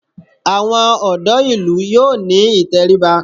Àwọn ọ̀dọ́ ìlú yóò ní ìtẹríba